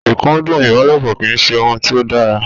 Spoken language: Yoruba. Ìkúndù ìbálòpọ̀ kì í ṣe ohun tí ó dára.